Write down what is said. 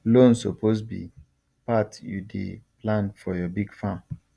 loan suppose be part you dey plan for your big farm